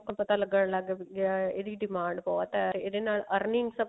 ਪਤਾ ਲੱਗਣ ਲੱਗ ਗਿਆ ਇਹਦੀ demand ਬਹੁਤ ਹੈ ਇਹਦੇ ਨਾਲ earning ਸਭ